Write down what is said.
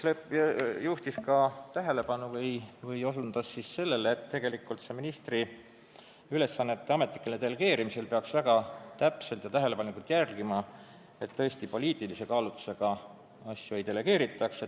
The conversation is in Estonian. Mart Nutt juhtis tähelepanu või osutas sellele, et ministri ülesannete ametlikul delegeerimisel peaks väga täpselt ja tähelepanelikult jälgima, et poliitilist kaalutlust nõudvaid asju ei delegeeritaks.